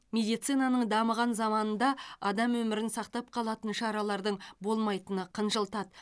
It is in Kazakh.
медицинаның дамыған заманында адам өмірін сақтап қалатын шаралардың болмайтыны қынжылтады